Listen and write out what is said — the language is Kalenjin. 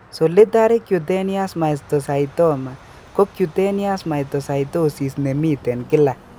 Solitary cutaneous mastocytoma ko cutaneous mastocytosis nemiten kila